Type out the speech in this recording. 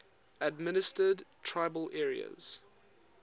administered tribal areas